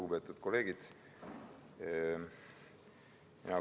Lugupeetud kolleegid!